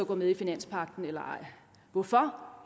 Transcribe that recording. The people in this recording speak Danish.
gå med i finanspagten eller ej hvorfor